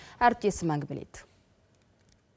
әріптесім әңгімелейді